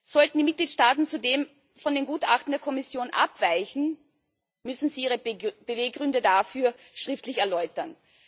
Sollten die Mitgliedstaaten zudem von den Gutachten der Kommission abweichen, müssen sie ihre Beweggründe dafür schriftlich erläutern.